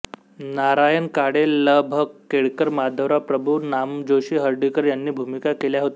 नारायण काळे ल भ केळकर माधवराव प्रभू नामजोशी हर्डीकर यांनी भूमिका केल्या होत्या